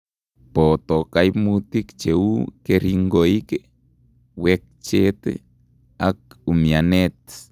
Booto kaimutik cheuu keringoik, wechhet ak umianeet